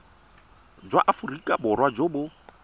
jwa aforika borwa jo bo